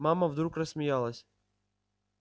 мама вдруг рассмеялась